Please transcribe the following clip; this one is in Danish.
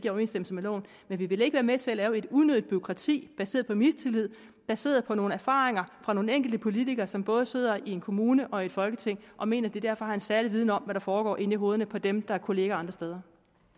i overensstemmelse med loven men vi vil ikke være med til at lave et unødigt bureaukrati baseret på mistillid baseret på nogle erfaringer fra nogle enkelte politikere som både sidder i en kommune og i folketinget og mener at de derfor har en særlig viden om der foregår inde i hovederne på dem der er kolleger andre steder